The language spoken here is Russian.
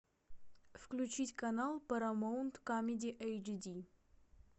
включить канал парамаунт камеди эйч ди